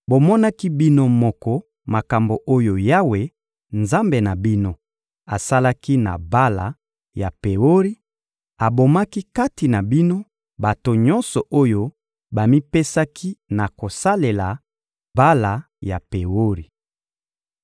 Bomonaki bino moko makambo oyo Yawe, Nzambe na bino, asalaki na Bala ya Peori: abomaki kati na bino bato nyonso oyo bamipesaki na kosalela Bala ya Peori.